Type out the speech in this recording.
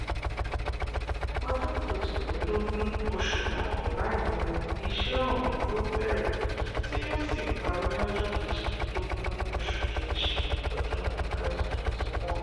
ọjọ́ kejìlélógún oṣù kọkànlá yìí ni iṣẹ́ ọ̀hún yóò bẹ̀rẹ̀ tí yóò sì parí lọ́jọ́ kejìlélógún oṣù kejì ọdún twenty twenty one